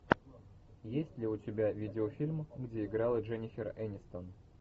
есть ли у тебя видеофильм где играла дженнифер энистон